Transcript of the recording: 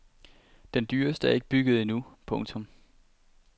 Den dyreste er ikke bygget endnu. punktum